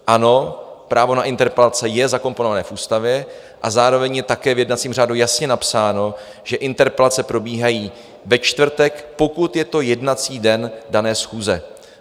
Ano, právo na interpelace je zakomponované v Ústavě a zároveň je také v jednacím řádu jasně napsáno, že interpelace probíhají ve čtvrtek, pokud je to jednací den dané schůze.